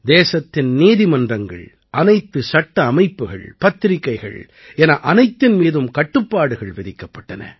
தேசத்தின் நீதிமன்றங்கள் அனைத்து சட்ட அமைப்புகள் பத்திரிக்கைகள் என அனைத்தின் மீதும் கட்டுப்பாடுகள் விதிக்கப்பட்டன